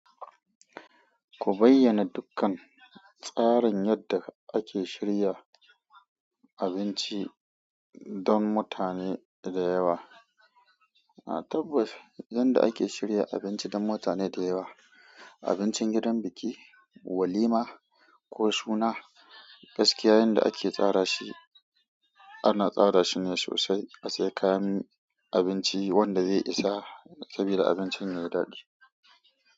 Ku bayyana dukkan tsarin yadda ake shirya abinci don mutane da yawa, a tabbas yanda ake shirya abinci don mutane da yawa, abincin gidan biki, walima ko suna, gaskiya yanda ake tsara shi ana tsara shi ne sosai, asayi kayan abinci wanda zai isa, saboda abincin yayi daɗi.